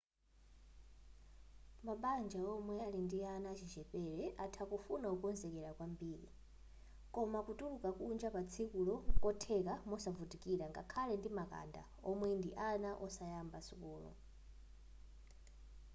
mabanja omwe ali ndi ana achichepere atha kufuna kukonzekera kwambiri koma kutuluka kunja patsikulo nkotheka mosavutikira ngakhale ndi makanda omwe ndi ana osayamba sukulu